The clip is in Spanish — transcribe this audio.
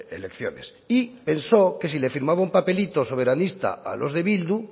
elecciones y pensó que si le firmaba un papelito soberanista a los de bildu